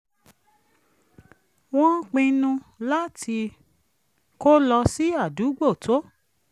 wọ́n pinnu láti kó lọ sí àdúgbò tó